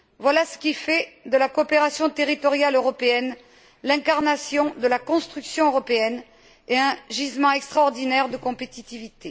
Voilà ce qui fait de la coopération territoriale européenne l'incarnation de la construction européenne et un gisement extraordinaire de compétitivité.